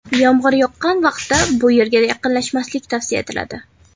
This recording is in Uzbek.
Yomg‘ir yoqqan vaqtda bu yerga yaqinlashmaslik tavsiya etiladi.